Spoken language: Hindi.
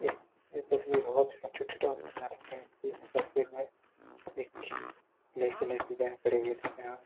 इस यह तस्वीर हब्स इंस्टिट्यूट आफ नर्सिंग कि है इस तस्वीर में एक ब्लैक कलर की वैन खड़ी है जिसमे ना --